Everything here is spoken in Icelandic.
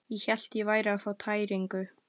Ég hélt ég væri að fá tæringu.